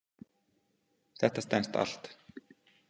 Þetta stenst allt.